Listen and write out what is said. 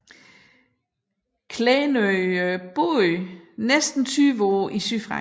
Klenø var bosiddende næsten 20 år i sydfrankrig